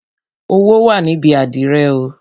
Owó wà níbi àdìrẹ oo